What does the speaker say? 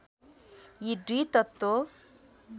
यी दुई तत्त्व